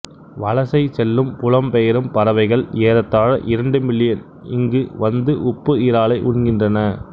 வலசை செல்லும் புலம்பெயரும் பறவைகள் ஏறத்தாழ இரண்டு மில்லியன் இங்கு வந்து உப்பு இறாலை உண்கின்றன